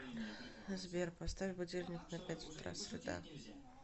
сбер поставь будильник на пять утра среда